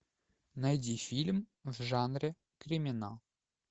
найди фильм в жанре криминал